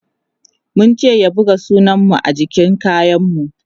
mun ce ya buga sunan mu jikin kayan mu